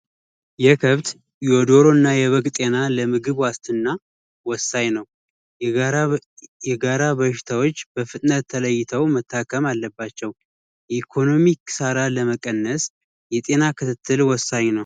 የከብት ፣የበግ እና የደሮ ጤና ለምግብ ዋስትና ወሳኝ ነው። የጋራ በሽታዎች በፍጥነት ተለይተው መታምመ አለባቸው። የኢኮኖሚ ክሳራ ለመቀነስ የጤና ክትትል ወሳኝ ነው።